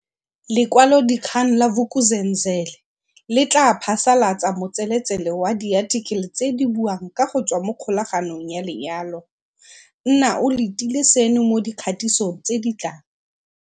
Lekwalodikgang la Vuk'uzenzele le tla phasalatsa motseletsele wa diathikele tse di buang ka go tswa mokgolaganong ya lenyalo. Nna o letile seno mo dikgatisong tse di tlang.